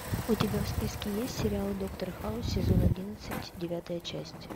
у тебя в списке есть сериал доктор хаус сезон одиннадцать девятая часть